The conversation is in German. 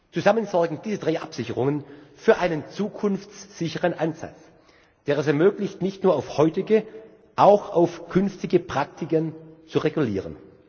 Zusammen sorgen diese drei Absicherungen für einen zukunftssicheren Ansatz, der es ermöglicht, nicht nur auf heutige, sondern auch auf künftige Praktiken zu reagieren.